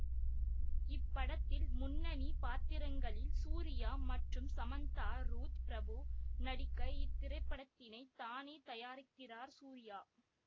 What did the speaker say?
இப்படத்தில் முன்னணி பாத்திரங்களில் சூர்யா மற்றும் சமந்தா ருத் பிரபு நடிக்க இத் திரைப்படத்தினை தானே தயாரிக்கிறார் சூர்யா